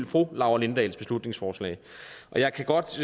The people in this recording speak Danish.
fru laura lindahls beslutningsforslag og jeg kan godt